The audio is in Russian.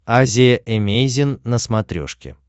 азия эмейзин на смотрешке